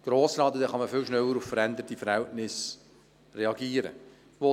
So wird man viel schneller auf veränderte Verhältnisse reagieren können.